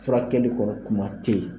Furakɛli kɔni kuma tɛ ye.